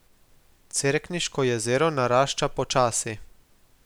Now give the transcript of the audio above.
Cerkniško jezero narašča počasi.